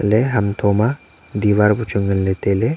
le hum tho ma diwar bu chu nganley tailey.